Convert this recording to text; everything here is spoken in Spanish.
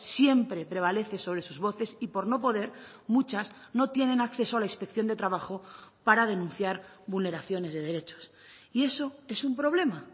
siempre prevalece sobre sus voces y por no poder muchas no tienen acceso a la inspección de trabajo para denunciar vulneraciones de derechos y eso es un problema